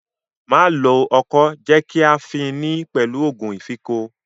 Má lo ọkọ́, jẹ́ kí a fin ni pẹ̀lú òògun ìfínko!